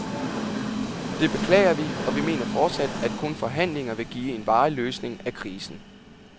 Det beklager vi, og vi mener fortsat, at kun forhandlinger vil give en varig løsning af krisen.